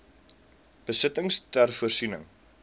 besittings ter voorsiening